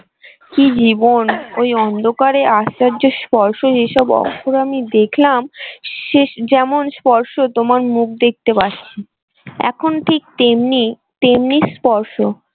কি জীবন ওই অন্ধকারে আশ্চর্য স্পর্শ যেসব অর্থ আমি দেখলাম শেষ যেমন স্পর্শ তোমার মুখ দেখতে পাচ্ছি এখন ঠিক তেমনি তেমনি স্পর্শ।